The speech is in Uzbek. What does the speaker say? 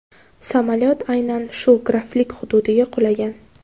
Samolyot aynan shu graflik hududiga qulagan.